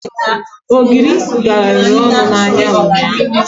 Ogiri garara ọnụ n'ahịa nnyaaǃ